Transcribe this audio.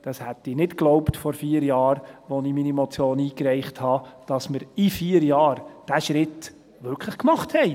Ich hätte vor vier Jahren, als ich meine Motion einreichte, nicht geglaubt, dass wir in vier Jahren diesen Schritt wirklich gemacht haben.